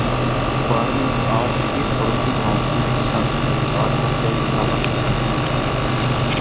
अखबार में आज फिर पड़ोसी गांवों के किसानों की आत्महत्या की खबर छपी थी